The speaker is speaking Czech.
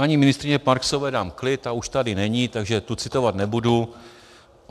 Paní ministryni Marksové dám klid, ta už tady není, takže tu citovat nebudu.